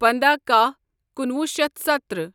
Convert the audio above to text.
پندَہ کہہ کنُوہُ شیتھ سَتتٕرہ